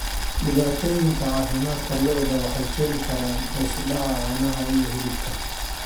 Dhibaatooyinka caafimaadka lo'da waxay keeni karaan hoos u dhaca caanaha iyo hilibka